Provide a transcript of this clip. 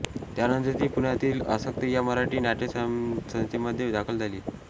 त्यानंतर ती पुण्यातील आसक्त या मराठी नाट्यसंस्थेमध्ये दाखल झाली